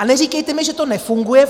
A neříkejte mi, že to nefunguje.